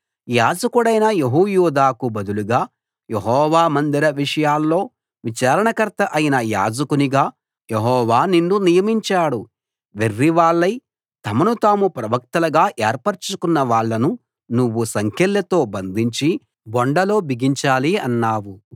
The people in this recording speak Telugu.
యాజకుడైన యెహోయాదాకు బదులుగా యెహోవా మందిర విషయాల్లో విచారణకర్త అయిన యాజకునిగా యెహోవా నిన్ను నియమించాడు వెర్రివాళ్లై తమను తాము ప్రవక్తలుగా ఏర్పరచుకున్న వాళ్ళను నువ్వు సంకెళ్లతో బంధించి బొండలో బిగించాలి అన్నావు